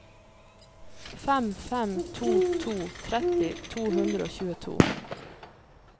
fem fem to to tretti to hundre og tjueto